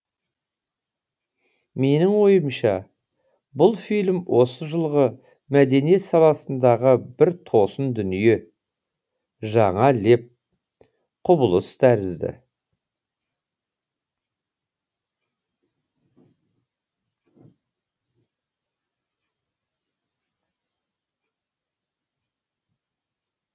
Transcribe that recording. менің ойымша бұл фильм осы жылғы мәдениет саласындағы бір тосын дүние жаңа леп құбылыс тәрізді